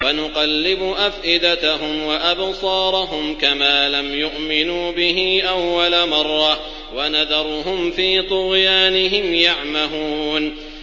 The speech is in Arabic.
وَنُقَلِّبُ أَفْئِدَتَهُمْ وَأَبْصَارَهُمْ كَمَا لَمْ يُؤْمِنُوا بِهِ أَوَّلَ مَرَّةٍ وَنَذَرُهُمْ فِي طُغْيَانِهِمْ يَعْمَهُونَ